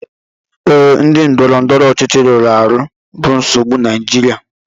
Ee, ndị ndọrọndọrọ ọchịchị rụrụ arụ bụ nsogbu Naijiria